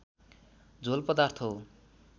झोल पदार्थ हो